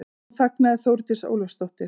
Nú þagnaði Þórdís Ólafsdóttir.